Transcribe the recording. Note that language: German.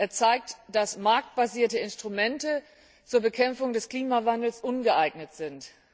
Er zeigt, dass marktbasierte Instrumente zur Bekämpfung des Klimawandels ungeeignet sind.